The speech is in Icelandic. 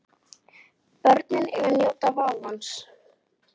Börnin eiga að njóta vafans.